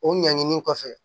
O ɲanginin kɔfɛ